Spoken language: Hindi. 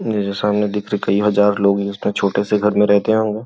सामने देख कई हजार लोग उसने छोटे से घर में रहते होंगे।